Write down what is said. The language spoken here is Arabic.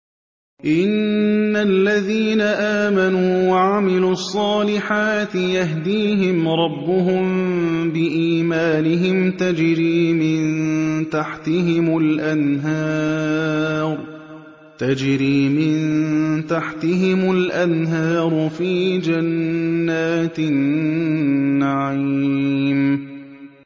إِنَّ الَّذِينَ آمَنُوا وَعَمِلُوا الصَّالِحَاتِ يَهْدِيهِمْ رَبُّهُم بِإِيمَانِهِمْ ۖ تَجْرِي مِن تَحْتِهِمُ الْأَنْهَارُ فِي جَنَّاتِ النَّعِيمِ